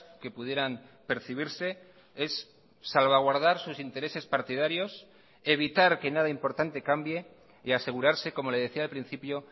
que pudieran percibirse es salvaguardar sus intereses partidarios evitar que nada importante cambie y asegurarse como le decía al principio